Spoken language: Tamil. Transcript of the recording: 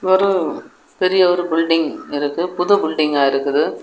ஒரு பெரிய ஒரு பில்டிங் இருக்கு புது பில்டிங்கா இருக்குது.